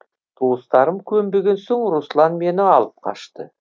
туыстарым көнбеген соң руслан мені алып қашты